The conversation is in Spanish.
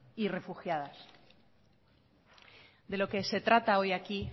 y refugiadas de lo que trata hoy aquí